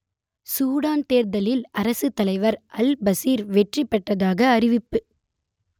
Sudan தேர்தலில் அரசுத்தலைவர் al Bashir வெற்றி பெற்றதாக அறிவிப்பு